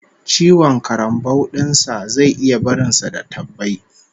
Ciwon karambau din sa zai iya barin sa da tabbai